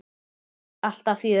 Alltaf fjör.